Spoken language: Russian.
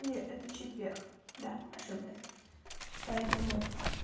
не это четверг да ошиблась поэтому